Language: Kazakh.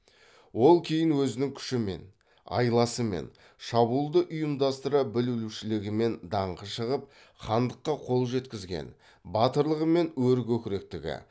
ол кейін өзінің күшімен айласымен шабуылды ұйымдастыра білушілігімен даңқы шығып хандыққа қол жеткізген батырлығы мен өркөкіректігі